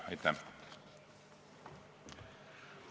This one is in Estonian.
Aitäh!